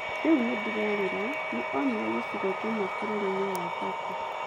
Rĩu nĩ ndĩrerira Nĩ onire gĩcigo kĩmwe bũrũri-inĩ wa Turkey.